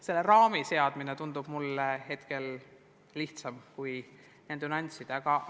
Selle raami seadmine tundub mulle lihtsam kui nende nüansside arvestamine.